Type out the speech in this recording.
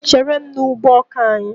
Chéré m n' ụgbọ ọkà anyị!!!!!